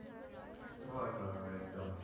হয় হয় হয় এক্দম